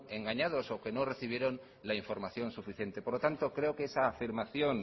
engañados o que no recibieron la información suficiente por lo tanto creo que esa afirmación